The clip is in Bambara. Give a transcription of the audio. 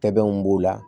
Tɛbanw b'o la